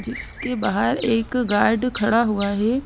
जिसके के बाहर एक गार्ड खड़ा हुआ है।